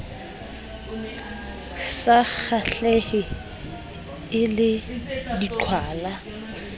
sa kgahlehe e le diqhwala